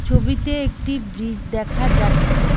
ছবিতে একটি ব্রিজ দেখা যাচ্ছে।